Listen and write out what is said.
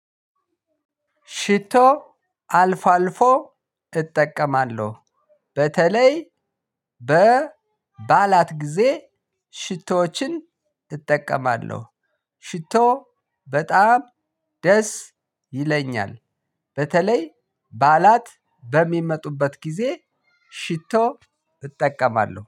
ሽቶ አልፎ አልፎ እጠቀማለሁ። በተለይ በበዓላት ጊዜ ሽቶዎችን እጠቀማለሁ። ሽቶ በጣም ደስ ይለኛል። በተለይ በዓላት በሚመጡበት ጊዜ ሽቶ እጠቀማለሁ